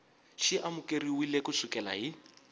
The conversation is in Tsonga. xi amukeriwile ku sukela hi